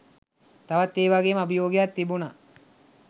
තවත් ඒ වාගෙම අභියෝගයක් තිබුණා